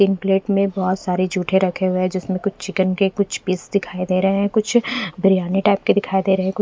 तीन प्लेट में बहोत सारे जूठे रखे हुए है जिसमे कुछ चिकन के कुछ पीस दिखाई दे रहे है कुछ बिरयानी टाइप के दिखाई दे रहे है।